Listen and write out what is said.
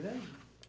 Grande?